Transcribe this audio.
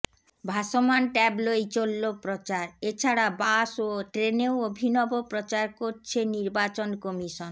ভাসমান ট্যাবলোয় চলল প্রচার এছাড়া বাস ও ট্রেনেও অভিনব প্রচার করছে নির্বাচন কমিশন